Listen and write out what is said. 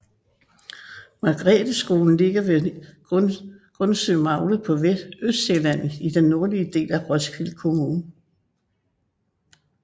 Margretheskolen ligger ved Gundsømagle på Østsjælland i den nordlige del af Roskilde Kommune